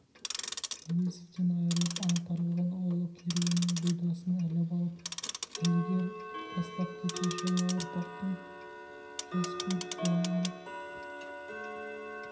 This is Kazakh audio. әуезовтен айрылып аңтарылған ұлы керуенінің бұйдасын іліп алып ілігер бастап кетер жаңа ұрпақтың жас көріп қуанған